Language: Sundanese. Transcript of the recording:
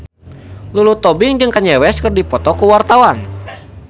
Lulu Tobing jeung Kanye West keur dipoto ku wartawan